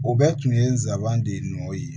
O bɛɛ tun ye n sabanan de ye n'o ye